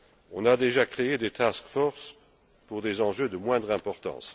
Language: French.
On a déjà créé des task forces pour des enjeux de moindre importance.